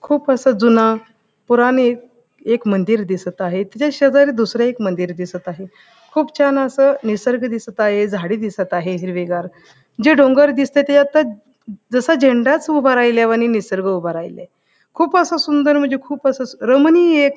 खूप असं जून पुरणीत एक मंदिर दिसत आहे त्याच्या शेजारी दुसर एक मंदिर दिसत आहे खूप छान अस निसर्ग दिसत आहे झाडी दिसत आहे हिरवेगार जे डोंगर दिसते त्याच्यातच जसज झेंडाच उभा राहिल्यावणी निसर्ग उभा राहिलाय खूप असं सुंदर म्हणजे खूप अस रमणीय --